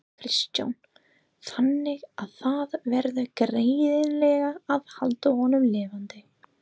Kristján: Þannig að það verður greinilega að halda honum lifandi?